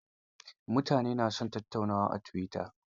Mutane na son tattaunawa a tuwita.